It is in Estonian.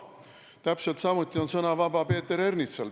Täpselt samuti on sõna vaba Peeter Ernitsal.